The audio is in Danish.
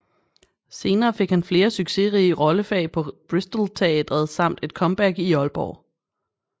Senere fik han flere succesrige rollefag på Bristolteatret samt et comeback i Aalborg